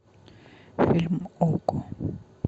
фильм окко